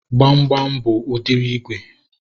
Gbamgbam bụ udiri ígwè